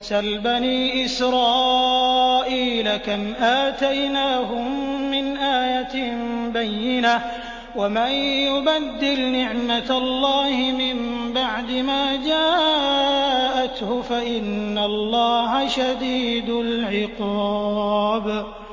سَلْ بَنِي إِسْرَائِيلَ كَمْ آتَيْنَاهُم مِّنْ آيَةٍ بَيِّنَةٍ ۗ وَمَن يُبَدِّلْ نِعْمَةَ اللَّهِ مِن بَعْدِ مَا جَاءَتْهُ فَإِنَّ اللَّهَ شَدِيدُ الْعِقَابِ